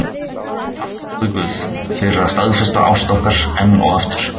Takk, góði guð, fyrir að staðfesta ást okkar enn og aftur.